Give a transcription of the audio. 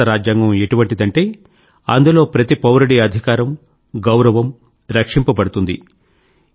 భారత రాజ్యాంగం ఎటువంటిదంటే అందులో ప్రతి పౌరుడి అధికారం గౌరవం రక్షింపబడుతుంది